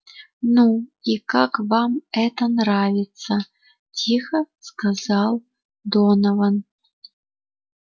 ну и как вам это нравится тихо сказал донован